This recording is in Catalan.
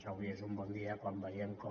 avui és un bon dia quan veiem com